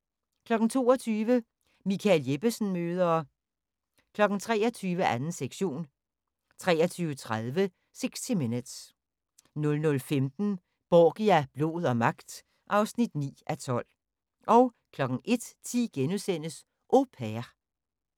22:00: Michael Jeppesen møder ... 23:00: 2. sektion 23:30: 60 Minutes 00:15: Borgia – blod og magt (9:12) 01:10: Au Pair *